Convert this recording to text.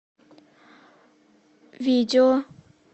видео